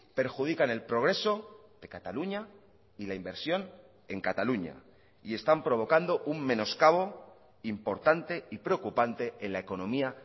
perjudican el progreso de cataluña y la inversión en cataluña y están provocando un menoscabo importante y preocupante en la economía